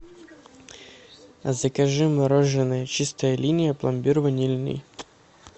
закажи мороженое чистая линия пломбир ванильный